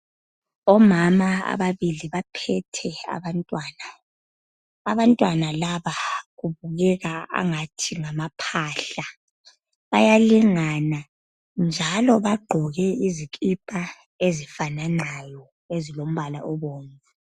Omama ababili baphethe abantwana. Abantwana laba babukeka engathi ngamaphahla. Bayalingana, njalo bagqoke izikipa ezifafanayo ezilombala obomvu.